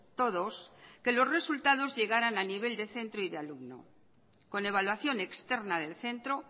todos que los resultados llegaran a nivel de centro y de alumnos con evaluación externa del centro